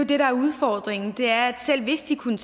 det der er udfordringen er at selv hvis de kunne